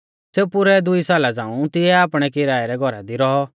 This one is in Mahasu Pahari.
सेऊ पुरै दुई साला झ़ांऊ तिऐ आपणै किराय रै घौरा दी रौऔ